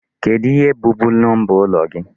Kedụ ihe bụ bu number ụlọ gị?